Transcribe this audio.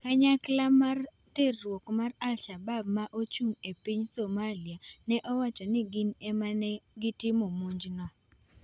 Kanyakla mar terruok mar al-Shabab ma ochung' e piny Somalia ne owacho ni gin e ma ne otimo monjno.